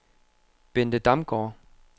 Bente Damgaard